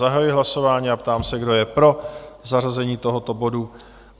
Zahajuji hlasování a ptám se, kdo je pro zařazení tohoto bodu?